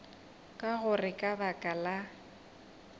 ka gore ka baka la